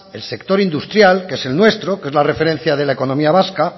el sector industrial que es el nuestro que es la referencia de la economía vasca